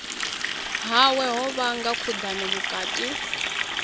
hawe ho vhanga khudano vhukati